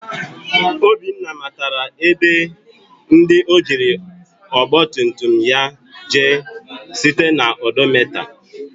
Obinna matara ebe ndi ojiri ọgba tum tum ya jee site na odometa.